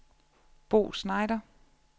Bo Schneider